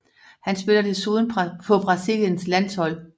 Han spiller desuden på Brasiliens landshold